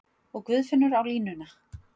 Og Guðfinnur á línuna!